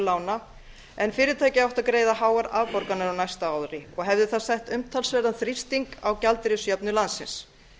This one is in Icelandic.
lána en fyrirtæki átti að greiða háar afborganir á næsta ári og hefði það sett umtalsverðan þrýsting á gjaldeyrisjöfnuð landsins